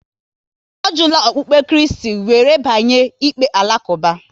Ọ jula okpukpe Kristi, wéré banye n'ikpe Alakuba